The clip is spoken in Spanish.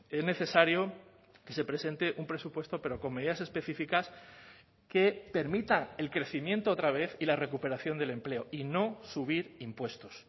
es necesario que se presente un presupuesto pero con medidas específicas que permita el crecimiento otra vez y la recuperación del empleo y no subir impuestos